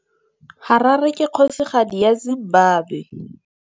Harare ke kgosigadi ya Zimbabwe.